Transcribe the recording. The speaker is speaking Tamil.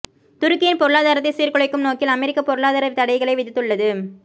துருக்கியின் பொருளாதாரத்தை சீர்குலைக்கும் நோக்கில் அமெரிக்கா பொருளாதார தடைகளை விதித்துள்ளது